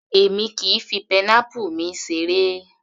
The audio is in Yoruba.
Èmi kìí fi pineapple mi seré